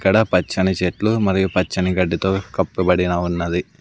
ఇక్కడ పచ్చని చెట్లు మరియు పచ్చని గడ్డితో కప్పబడిన ఉన్నది.